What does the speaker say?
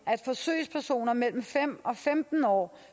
at forsøgspersoner mellem fem og femten år